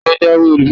talo jawé olubori?